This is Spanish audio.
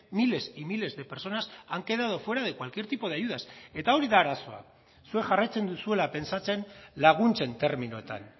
miles y miles de personas han quedado fuera de cualquier tipo de ayudas eta hori da arazoa zuek jarraitzen duzuela pentsatzen laguntzen terminoetan